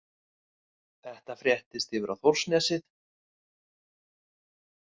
Þetta fréttist yfir á Þórsnesið.